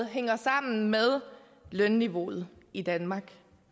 hænger sammen med lønniveauet i danmark